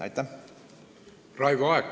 Raivo Aeg, palun!